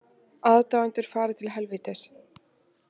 Aðdáendur fari til helvítis